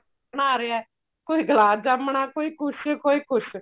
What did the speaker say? ਬਣਾ ਰਿਹਾ ਕੋਈ ਗਲਾਬ ਜਾਮਨਾ ਕੋਈ ਕੁੱਝ ਕੋਈ ਕੁੱਝ